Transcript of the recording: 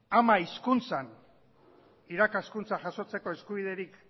ama hizkuntzan irakaskuntza jasotzeko eskubiderik